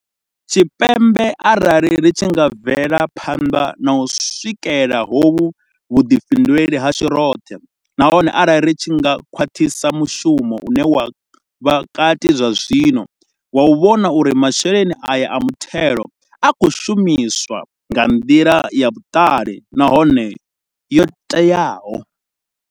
Tshipembe arali ri tshi nga bvela phanḓa na u swikela hovhu vhuḓifhinduleli hashu roṱhe nahone arali ri tshi nga khwaṱhisa mushumo une wa vha kati zwazwino wa u vhona uri masheleni aya a muthelo a khou shumiswa nga nḓila ya vhuṱali nahone yo teaho.